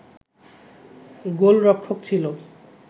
গোলরক্ষক ছিল